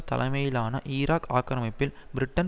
தலைமையிலான ஈராக் ஆக்கிரமிப்பில் பிரிட்டன்